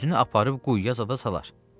Özünü aparıb quyuya zada salar.